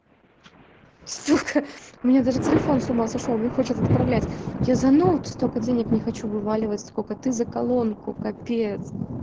сука у меня даже телефон с ума сошёл не хочет отправлять я за ноут столько денег не хочу вываливать сколько ты за колонку капец